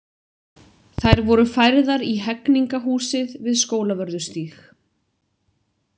Þær voru færðar í Hegningarhúsið við Skólavörðustíg.